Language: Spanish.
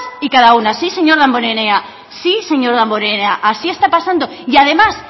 y cada una sí señor damborenea sí señor damborenea así está pasando y además